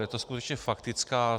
Je to skutečně faktická.